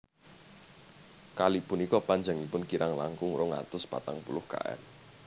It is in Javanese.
Kali punika panjangipun kirang langkung rong atus patang puluh km